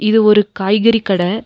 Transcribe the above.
இது ஒரு காய் கறி கட.